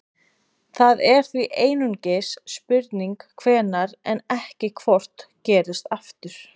það er því einungis spurning hvenær en ekki hvort gerist aftur